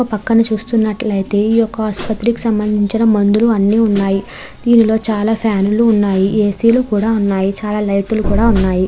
ఒక పక్కన చూస్తున్నట్లు అయితే ఈ యొక్క ఆసుపత్రి కి సంబంధించిన మందులు అన్ని ఉన్నాయి దీనిలో చాలా ఫ్యాన్ లు ఉన్నాయి ఏ-సి లు కూడా ఉన్నాయి చాలా లైట్ లు కూడా ఉన్నాయి.